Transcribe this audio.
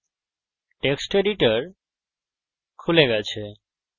text editor খুলে গেছে